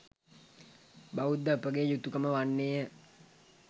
බෞද්ධ අපගේ යුතුකම වන්නේය.